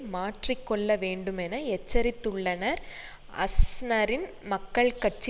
மாற்றி கொள்ள வேண்டுமென எச்சரித்துள்ளனர் அஸ்னரின் மக்கள் கட்சி